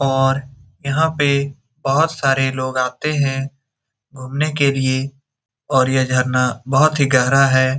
और यहाँ पे बहुत सारे लोग आते हैं घुमने के लिए और ये झरना बहुत ही गहरा है।